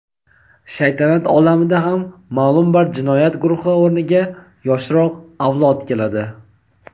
shaytanat olamida ham ma’lum bir jinoyat guruhi o‘rniga yoshroq avlod keladi.